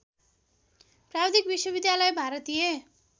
प्राविधिक विश्वविद्यालय भारतीय